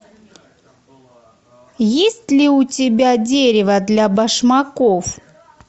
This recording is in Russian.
есть ли у тебя дерево для башмаков